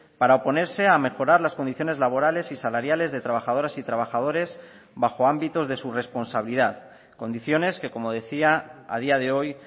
para oponerse a mejorar las condiciones laborales y salariales de trabajadoras y trabajadores bajo ámbitos de su responsabilidad condiciones que como decía a día de hoy